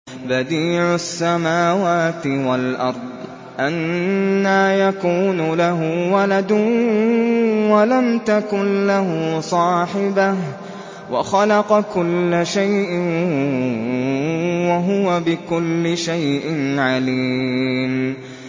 بَدِيعُ السَّمَاوَاتِ وَالْأَرْضِ ۖ أَنَّىٰ يَكُونُ لَهُ وَلَدٌ وَلَمْ تَكُن لَّهُ صَاحِبَةٌ ۖ وَخَلَقَ كُلَّ شَيْءٍ ۖ وَهُوَ بِكُلِّ شَيْءٍ عَلِيمٌ